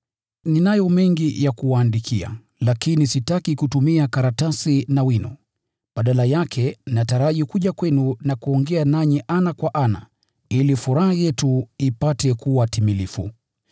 Ninayo mengi ya kuwaandikia, lakini sitaki kutumia karatasi na wino. Badala yake, nataraji kuja kwenu na kuongea nanyi ana kwa ana, ili furaha yetu ipate kuwa timilifu.